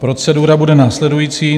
Procedura bude následující.